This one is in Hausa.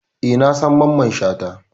Eh, na san Mamman Shata